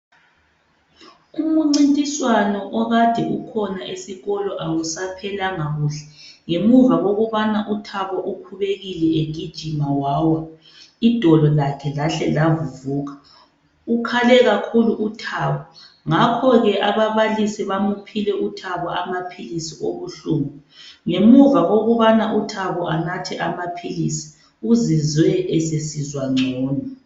Umncintiswano okade ukhona esikolo awusaphelanga kuhle ngemuva kokubana uThabo ukhubekile egijima wawa idolo lakhe lahle lavuvuka. Ukhale kakhulu uThabo ngakho ke ababalisi bamphile uThabo amaphilizi obuhlungu. Ngemuva kokubana u Thabo anathe amaphilizi uzizwe esesizwa ngcono.